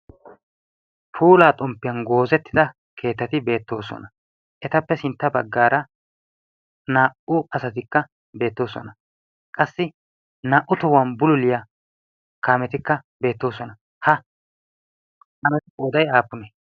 puulaa xomppiyan goozettida keettati beettoosona. etappe sintta baggaara naa77u asatikka beettoosona. qassi naa77u tohuwan buliliyaa kaametikka beettoosona. ha kaametu poodai aappune?